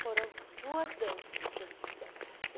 Foram duas danças que eles fizeram.